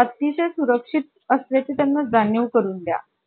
अतिशय सुरक्षित असल्याची त्यांना जाणीव करून द्या